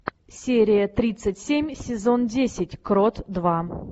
серия тридцать семь сезон десять крот два